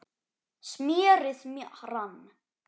smérið rann